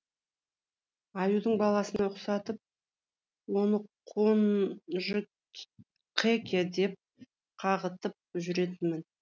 аюдың баласына ұқсатып оны қонжықеке деп қағытып жүретінмін